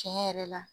Tiɲɛ yɛrɛ la